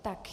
Tak.